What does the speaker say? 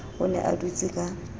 o ne a dutse ka